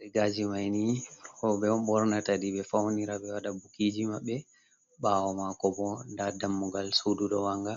regaji maini roɓɓe on ɓorna ta di ɓe faunira ɓe waɗa bukiji mabbe ɓawo mako bo nda dammugal sudu ɗo wanga.